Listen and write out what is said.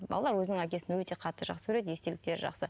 балалар өзінің әкесін өте қатты жақсы көреді естеліктері жақсы